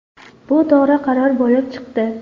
Bu to‘g‘ri qaror bo‘lib chiqdi.